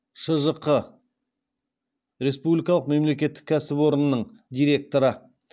шжқ республикалық мемлекеттік кәсіпорнының директоры